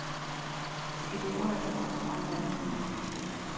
Et ord er et ord, og en mand er en mand.